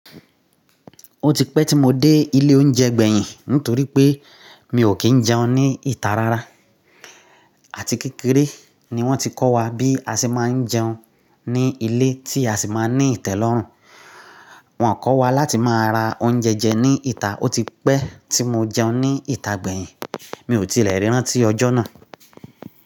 Ó ti pẹ́ tí mo dé ilé oúnjẹ gbẹ̀yìn nítorí pé mi ò kí ń jẹun ní ìta rárá. Àti kékeré ni wọ́n ti kọ́ wa bí a ṣe má ń jẹun ní ilé tí a sì máa ní ìtẹ́lọ́rùn. Wọn kọ́ wa láti máa ra oúnjẹ jẹ ní ìta. Ó ti pẹ́ tí mo jẹun ní ìta gbẹ̀yìn. Mi ò tilẹ̀ rí rán tí ọjọ́ náà.